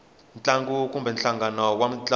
ntlangu kumbe nhlangano wa mintlangu